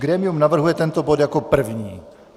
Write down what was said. Grémium navrhuje tento bod jako první.